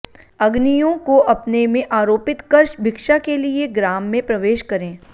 अग्नियों को अपने में आरोपित कर भिक्षा के लिए ग्राम में प्रवेश करें